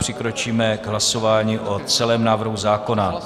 Přikročíme k hlasování o celém návrhu zákona.